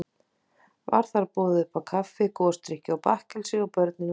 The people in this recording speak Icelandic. Var þar boðið uppá kaffi, gosdrykki og bakkelsi, og börnin velkomin.